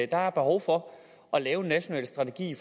der er behov for at lave en national strategi